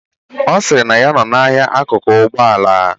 Ọsiri na ya nọọ na ahia akụkụ Ụgbọ ala.